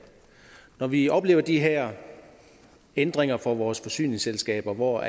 når vi oplever de her ændringer for vores forsyningsselskaber hvor